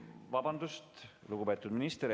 Vabandust, lugupeetud minister!